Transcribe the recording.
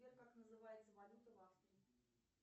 сбер как называется валюта в австрии